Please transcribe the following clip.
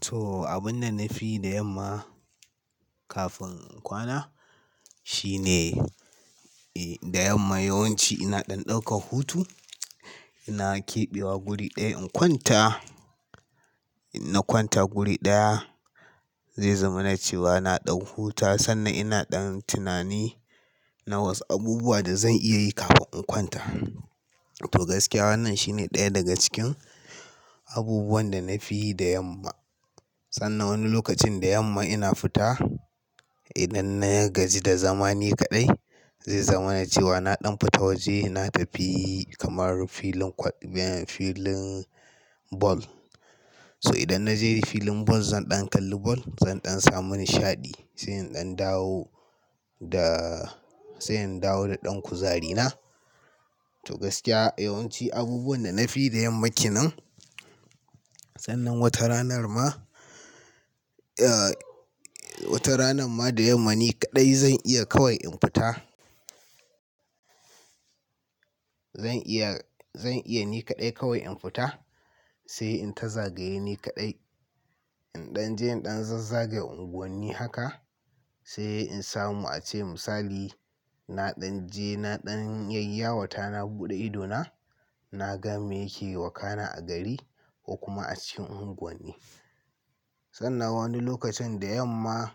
To, abun da na fi da yamma kafin kwana shine, da yamma yawanci ina ɗan ɗaukan hutu. Ina keɓewa guri ɗaya in kwanta. In na kwanta guri ɗaya zai zama na cewa na ɗan huta sannan ina ɗan tunani na wasu abubuwa da zan iya yi kafin in kwanta. To gaskiya wannan shine ɗaya daga cikin abubuwan da na fi yi da yamma. Sannan wani lokacin da yamma ina fita. Idan na gaji da zama ni kaɗai zai zama na cewa na ɗan fita waje. Na tafi kamar filin ƙwad, filin ball. So idan na je filin ball zan ɗan kalli ball, zan ɗan samu nishaɗi, sai in ɗan dawo da, sai in dawo da ɗan kuzari na. To gaskiya yawanci abubuwan da na fi yi da yamma kenan. Sannan wata ranar ma, wata ranar ma da yamma ni kaɗai zan iya kawai in fita. Zan iya, ni kaɗai kawai in fita, sai in ta zagaye ni kaɗai. In ɗan je ɗan zazzage unguwanni haka, sai in samu a ce misali. Na ɗan je, na ɗan yayyawo ta na buɗe ido na, na ga me yake wakana a gari ko kuma a cikin unguwa ne. Sannan wani lokacin da yamma